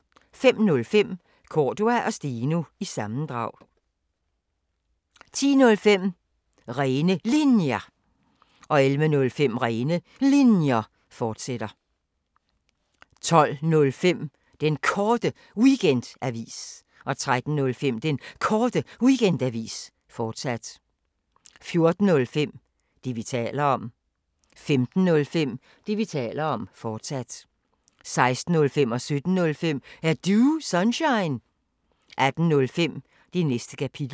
05:05: Cordua & Steno – sammendrag 10:05: Rene Linjer 11:05: Rene Linjer, fortsat 12:05: Den Korte Weekendavis 13:05: Den Korte Weekendavis, fortsat 14:05: Det, vi taler om 15:05: Det, vi taler om, fortsat 16:05: Er Du Sunshine? 17:05: Er Du Sunshine? 18:05: Det Næste Kapitel